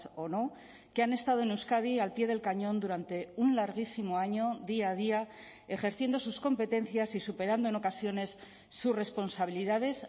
o no que han estado en euskadi al pie del cañón durante un larguísimo año día a día ejerciendo sus competencias y superando en ocasiones sus responsabilidades